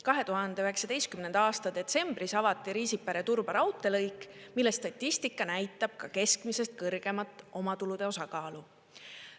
2019. aasta detsembris avati Riisipere–Turba raudteelõik, mille statistika näitab keskmisest kõrgemat omatulude osakaalu.